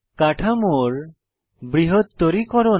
কাঠামোর বৃহত্তরীকরণ